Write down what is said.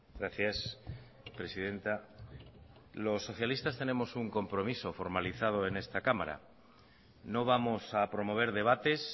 gracias presidenta los socialistas tenemos un compromiso formalizado en esta cámara no vamos a promover debates